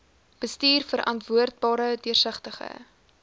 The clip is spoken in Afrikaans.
bestuur verantwoordbare deursigtige